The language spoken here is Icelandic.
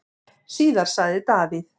Síðar sagði Davíð: